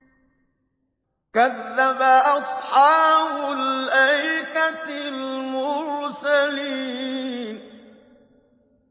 كَذَّبَ أَصْحَابُ الْأَيْكَةِ الْمُرْسَلِينَ